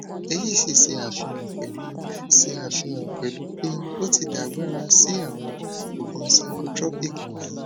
èyí sì ṣe àfihàn pẹlú ṣe àfihàn pẹlú pé o ti dàgbára sí àwọn oògùn psychotropic wọnyí